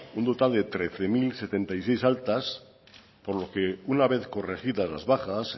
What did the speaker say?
un total de trece mil setenta y seis altas por lo que una vez corregidas las bajas